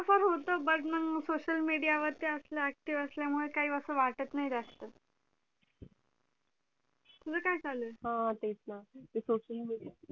फार होत but मग social media वर असलं active असल्यामुळे काही असं वाटतं नाही जास्त तुझं काय चालू आहे हा तेच ना ते social media